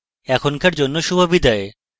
এখনকার জন্য শুভবিদায়